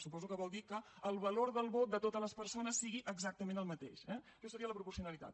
suposo que vol dir que el valor del vot de totes les persones sigui exactament el mateix eh això seria la proporcionalitat